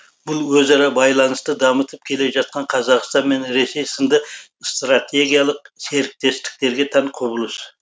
бұл өзара байланысты дамытып келе жатқан қазақстан мен ресей сынды стратегиялық серіктестіктерге тән құбылыс